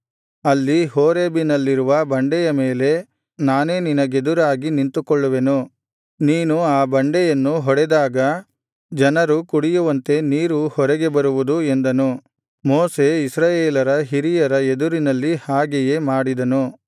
ಅಲ್ಲಿ ಹೋರೇಬಿನಲ್ಲಿರುವ ಬಂಡೆಯ ಮೇಲೆ ನಾನೇ ನಿನಗೆದುರಾಗಿ ನಿಂತುಕೊಳ್ಳುವೆನು ನೀನು ಆ ಬಂಡೆಯನ್ನು ಹೊಡೆದಾಗ ಜನರು ಕುಡಿಯುವಂತೆ ನೀರು ಹೊರಗೆ ಬರುವುದು ಎಂದನು ಮೋಶೆ ಇಸ್ರಾಯೇಲರ ಹಿರಿಯರ ಎದುರಿನಲ್ಲಿ ಹಾಗೆಯೇ ಮಾಡಿದನು